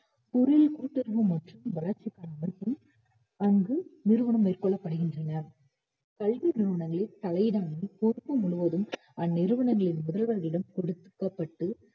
பொருளியல் கூட்டுறவு மற்றும் வளர்ச்சிக்கான அமைப்பு அங்கு நிறுவனங்கள் கொள்ளப்படுகின்றன கல்வி நிறுவனங்களில் தலை இடாமல் பொறுப்பு முழுவதும் அந்நிறுவனங்களின் முதல்வர்களிடம் கொடுத்து~ கொடுக்கப்பட்டு